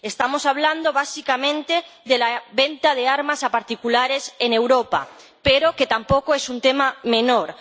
Estamos hablando básicamente de la venta de armas a particulares en Europa, pero que tampoco es un tema menor.